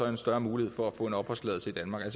en større mulighed for at få en opholdstilladelse i danmark